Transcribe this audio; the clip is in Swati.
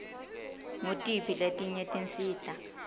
ngutiphi letinye tinsita